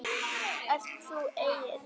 Ert þú Egill?